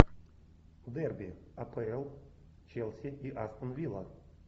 дерби апл челси и астон вилла